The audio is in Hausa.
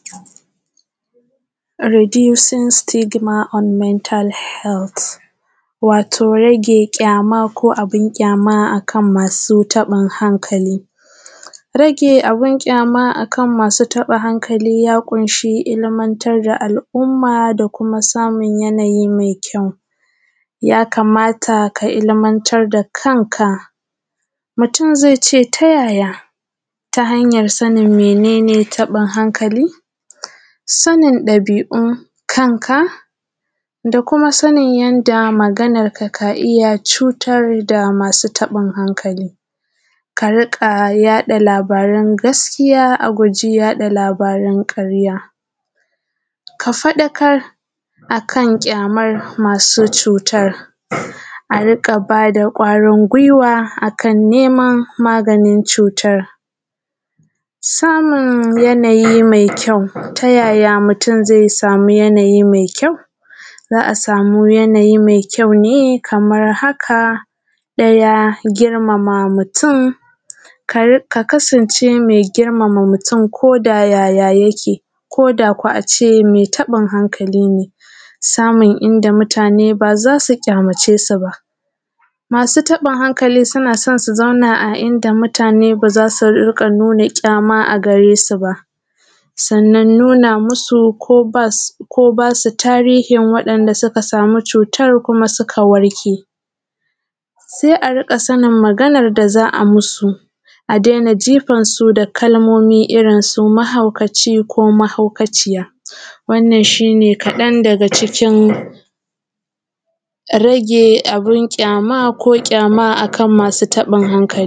Redusin Sitigima and mental health wato rage kyama ko abin kyama ga masu rashin hankali rage abin kyama akanmasu taɓin hankali ya ƙunshi ilmantar da al’umma da kuma samun yanayi mai kyau ya kamata ka ilmantar da kanka. Mutum zai ce ta yaya ta hanyan sanin mene taɓin hankali? Sanin ɗabi’un kanka da kuma sanin yanda magananka ka iya cutar da masu taɓin hankali, kari ƙa yaɗa labaran gaskiya, a guji yaɗa labaran ƙarya ka faɗakar a kan ƙyaman masu cutan a riƙa ba da ƙwarin gwiwa a kan niman magani. I ta samun yanayi mai kyau ta yaya mutum zai sama yanayi mai kyau? Za a sama yanayi mai kyau ne kaman haka: ɗaya girmama mutum ka kasance me girmama mutum ko da yaya yake ko da ko a ce me taɓin hankali ne? Samun inda mutane ba za su ƙyamace su ba, masu taɓinhankali suna so su dinga zama a inda mutane ba za su nuna ƙyama a gare su ba, sannan nuna musu ko ba su tarihin wanda suka samu cutan kuma suka warke, se a riƙa sanin maganan da za ai musu, a dena jifan su da kalmomi irin su mahaukata ko mahaukaciya wannan shi ne kaɗan daga cikin rage abin ƙyama akan masu taɓinhankali.